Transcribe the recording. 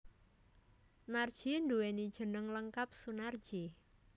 Narji nduwéni jeneng lengkap Sunarji